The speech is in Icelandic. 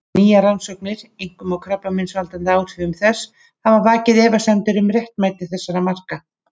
Nýjar rannsóknir, einkum á krabbameinsvaldandi áhrifum þess, hafa vakið efasemdir um réttmæti þessara marka.